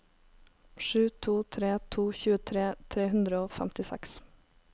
sju to tre to tjuetre tre hundre og femtiseks